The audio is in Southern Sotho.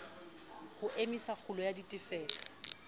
ho emisa kgulo ya ditefello